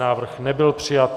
Návrh nebyl přijat.